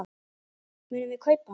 Munum við kaupa hann?